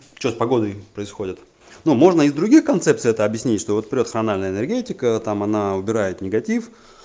что с погодами происходит ну можно и с других концепций это объяснить что вот прёт хрональная энергетика там она убирает негатив